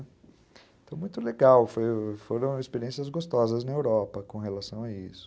Então, muito legal, foram foram experiências gostosas na Europa com relação a isso.